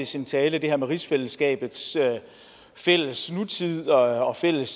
sin tale det her med rigsfællesskabets fælles nutid og fælles